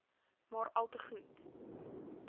maar alte goed